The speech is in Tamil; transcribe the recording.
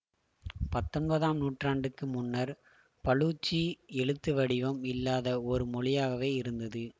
பத்தொன்பதாம் நூற்றாண்டுக்கு முன்னர் பலூச்சி எழுத்து வடிவம் இல்லாத ஒரு மொழியாகவே இருந்தது